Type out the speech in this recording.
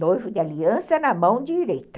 Noivo de aliança na mão direita.